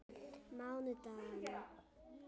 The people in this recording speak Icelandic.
mánudaganna